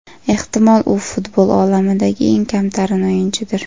Ehtimol, u futbol olamidagi eng kamtarin o‘yinchidir.